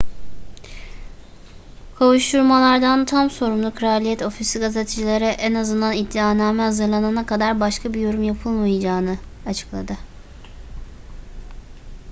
kovuşturmalardan tam sorumlu kraliyet ofisi gazetecilere en azından iddianame hazırlanana kadar başka bir yorum yapılmayacağını açıkladı